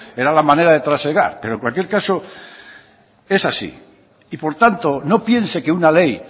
era la manera de trasegar pero en cualquier caso es así y por tanto no piense que una ley